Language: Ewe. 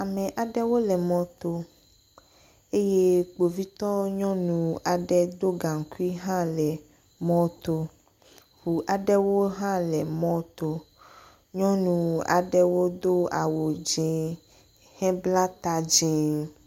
Ame aɖewo le mɔto eye Kpovitɔ nyɔnu aɖe do gaŋkui hã le mɔto. Ŋu aɖewo hã le mɔto. Nyɔnu aɖewo do awu dzẽ hebla ta dzẽ.